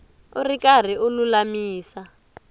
u ri karhi u lulamisa